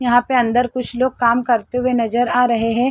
यहां पे अंदर कुछ लोग काम करते हुए नजर आ रहे हैं।